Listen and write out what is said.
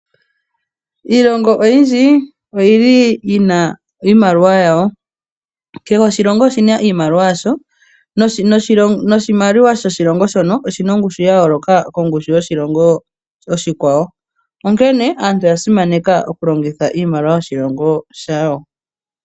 Iilongo oyindji oyili yina iimaliwa yayo kehe oshilongo oshina iimaliwa yasho noshimaliwa shoshilongo shono oshina ongushu ya yooloka kongushu yoshilongo oshikwawo , onkene aantu oya simaneka oku longitha iimaliwa yoshilongo shawo .